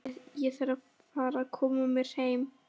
Jæja, ég þarf að fara að koma mér heim